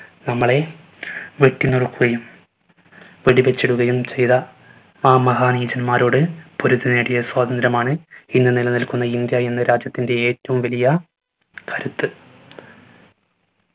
നമ്മളെ വെട്ടിനുറുക്കുകയും വെടിവെച്ചിടുകയും ചെയ്ത ആ മഹാ നീചന്മാരോട് പൊരുതി നേടിയ സ്വാതന്ത്യ്രമാണ് ഇന്ന് നിലനിൽക്കുന്ന ഇന്ത്യ എന്ന രാജ്യത്തിൻറെ ഏറ്റവും വലിയ കരുത്ത്.